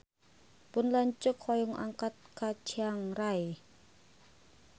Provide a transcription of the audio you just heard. Pun lanceuk hoyong angkat ka Chiang Rai